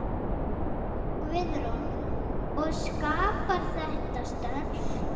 Guðrún: Og skapar þetta störf?